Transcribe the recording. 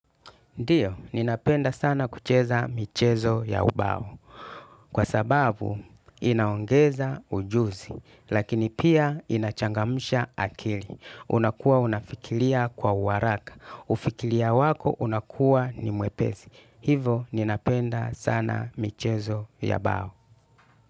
Ndio, ninapenda sana kucheza michezo ya ubao. Kwa sababu, inaongeza ujuzi, lakini pia inachangamusha akili. Unakuwa unafikiria kwa uharaka. Ufikiria wako unakuwa ni mwepesi. Hivo, ninapenda sana michezo ya bao.